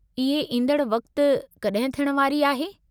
इहे ईंदड़ु वक़्तु कॾहिं थियण वारी आहे।